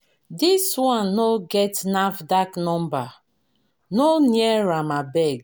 This one no get NAFDAC number; no near am abeg.